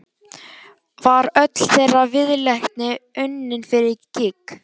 Var öll þeirra viðleitni unnin fyrir gýg?